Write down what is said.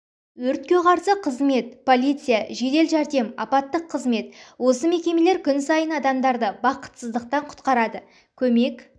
өртке қарсы қызмет полиция жедел жәрдем апаттық қызмет осы мекемелер күн сайын адамдарды бақытсыздықтан құтқарады көмек